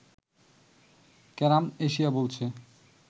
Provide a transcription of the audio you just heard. carrom Asia বলছে